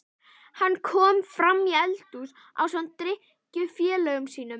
Hann kom framí eldhús ásamt drykkjufélögum sínum.